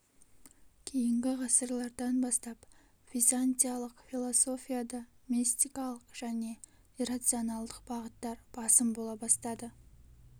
кейінгі ғасырлардан бастап византиялық философияда мистикалық және иррационалдық бағыттар басым бола бастады